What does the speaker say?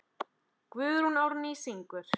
Guðrún Árný syngur.